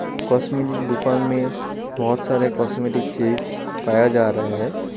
Cosmetic दुकान में बहुत सारे कॉस्मेटिक चीज पाया जा रहा है।